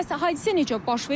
Bəs hadisə necə baş verib?